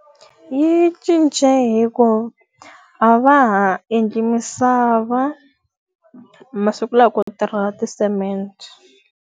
Yi cince hikuva a va ha endli misava, masiku lawa ku tirha ti-cement.